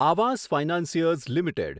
Awas financiers limited